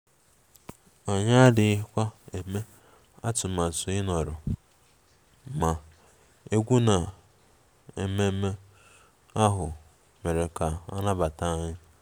Anyị adịghị eme atụmatụ ịnọrọ, ma egwú na ememe ahụ mere ka a nabata anyị